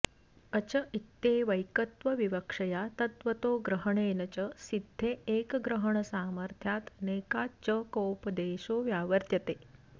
अच इत्येवैकत्वविवक्षया तद्वतो ग्रहणेन च सिद्धे एकग्रहणसामर्थ्यादनेकाच्कोपदेशो व्यावर्त्यते